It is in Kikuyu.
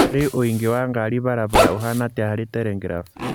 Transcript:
Rĩu ũingĩ wa ngari bara bara ũhana atya harĩ telegraph